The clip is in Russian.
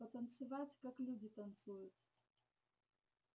потанцевать как люди танцуют